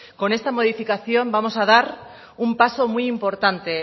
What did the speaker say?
con esta modificación vamos a dar un paso muy importante